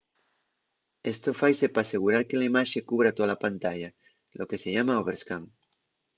esto faise p'asegurar que la imaxe cubra tola pantalla lo que se llama overscan